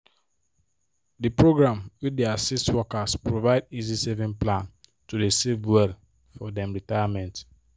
the program wey dey assist workers provide easy saving plan to safe well for dem retirement